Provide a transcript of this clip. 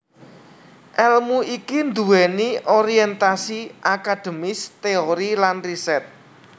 Èlmu iki nduwèni orientasi akademis teori lan riset